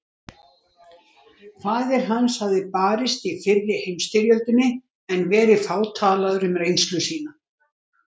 Faðir hans hafði barist í fyrri heimsstyrjöldinni en verið fátalaður um reynslu sína.